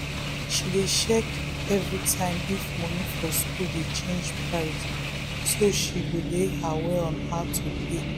she dey check everytime if money for school dey change price so she go dey aware on how to pay